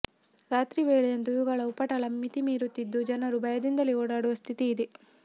ರಾತ್ರಿ ವೇಳೆಯಂತೂ ಇವುಗಳ ಉಪಟಳ ಮಿತಿ ಮೀರುತ್ತಿದ್ದು ಜನರು ಭಯದಿಂದಲೇ ಓಡಾಡುವ ಸ್ಥಿತಿ ಇದೆ